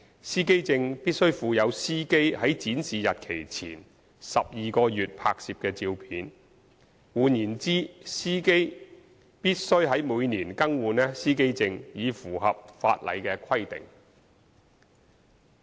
司機證必須附有司機在展示日期前12個月內拍攝的照片，換言之，司機必須每年更換司機證以符合法例規定。